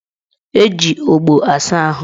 Eji ogbo asa ahụ